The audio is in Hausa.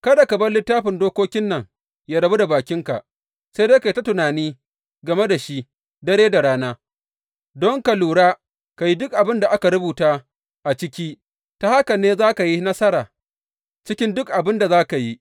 Kada ka bar Littafin Dokokin nan yă rabu da bakinka, sai dai ka yi ta tunani game da shi dare da rana, don ka lura, ka yi duk abin da aka rubuta a ciki, ta haka ne za ka yi nasara cikin duk abin da za ka yi.